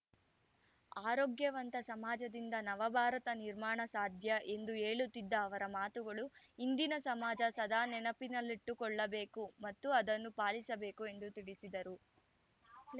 ಆರೋಗ್ಯವಂತ ಸಮಾಜದಿಂದ ನವ ಭಾರತ ನಿರ್ಮಾಣ ಸಾಧ್ಯ ಎಂದು ಹೇಳುತ್ತಿದ್ದ ಅವರ ಮಾತುಗಳು ಇಂದಿನ ಸಮಾಜ ಸದಾ ನೆನಪಿನಲ್ಲಿಟ್ಟುಕೊಳ್ಳಬೇಕು ಮತ್ತು ಅದನ್ನು ಪಾಲಿಸಬೇಕು ಎಂದು ತಿಳಿಸಿದರು